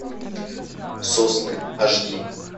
сосны аш ди